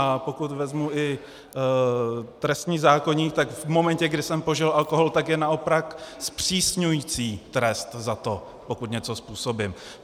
A pokud vezmu i trestní zákoník, tak v momentě, kdy jsem požil alkohol, tak je naopak zpřísňující trest za to, pokud něco způsobím.